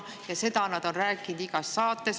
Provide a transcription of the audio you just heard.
Ja seda on räägitud igas saates.